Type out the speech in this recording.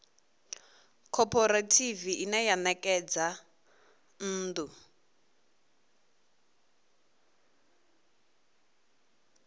khophorethivi ine ya ṋekedza nnḓu